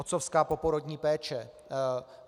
Otcovská poporodní péče.